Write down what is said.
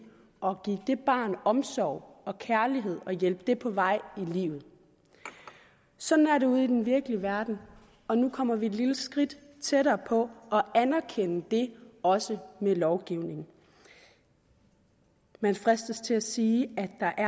og give det barn omsorg og kærlighed og hjælpe det på vej i livet sådan er det ude i den virkelige verden og nu kommer vi et lille skridt tættere på at anerkende det også med lovgivning man fristes til at sige at der